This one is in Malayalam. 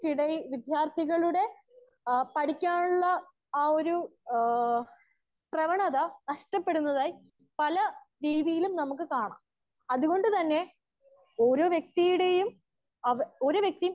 സ്പീക്കർ 1 ക്കിടയിൽ ആ വിദ്യാർത്ഥികളുടെ അ പഠിക്കാനുള്ള അ ഒരു എ പ്രവണത നഷ്ടപെടുന്നതായി പല രീതിയിലും നമുക്ക് കാണാ. അത് കൊണ്ട് തന്നെ ഒരൊ വ്യക്തിയുടെയും ഒര്‌ വെക്തി